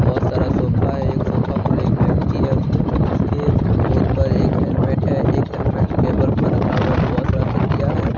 बहुत सारा सोफा है सोफा पर एक व्यक्ति है उसके उसके गोद पर एक हेलमेट है एक हेलमेट टेबल पर रखा हुआ बहुत सारा तकिया है।